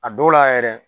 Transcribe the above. A dɔw la yɛrɛ